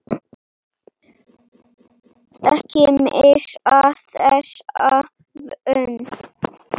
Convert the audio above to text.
Ekki missa þessa von.